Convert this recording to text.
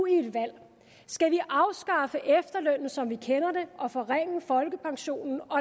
et valg skal vi afskaffe efterlønnen som vi kender den og forringe folkepensionen og